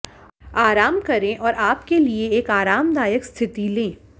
आराम करें और आप के लिए एक आरामदायक स्थिति ले